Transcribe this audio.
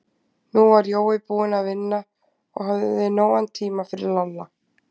Nú var Jói búinn að vinna og hafði nógan tíma fyrir Lalla.